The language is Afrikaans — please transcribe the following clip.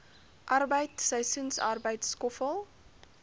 arbeid seisoensarbeid skoffel